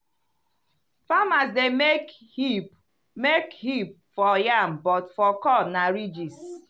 farmers dey make hip make hip for yam but for corn na ridges.